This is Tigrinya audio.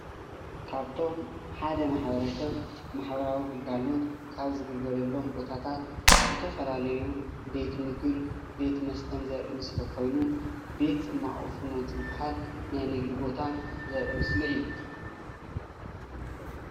ካብቶም ሓደ ማሕበረሰብ ማሕበራዊ ግልጋሎት ካብ ዝግልገለሎም ቦታታት ዝተፈላለዩ ቤት ምግብን ቤት መስተን ዘርኢ ምስሊ ኮይኑ ቤት ፅማቅ ፍኖት ዝባሃል ናይ ንግዲ ቦታ ዘርኢ ምስሊ እዩ፡፡